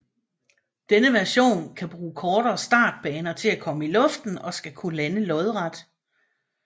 Denne version kan bruge kortere startbaner til at komme i luften og skal kunne lande lodret